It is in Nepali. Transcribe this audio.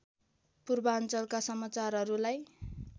पूर्वाञ्चलका समाचारहरूलाई